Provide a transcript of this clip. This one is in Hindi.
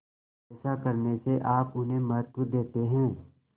ऐसा करने से आप उन्हें महत्व देते हैं